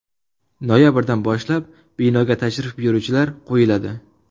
Noyabrdan boshlab binoga tashrif buyuruvchilar qo‘yiladi.